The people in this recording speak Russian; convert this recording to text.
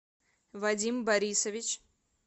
вадим борисович